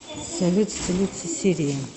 салют столица сирии